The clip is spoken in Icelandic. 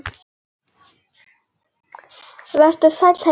Vertu sæll, heimur.